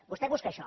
vostè busca això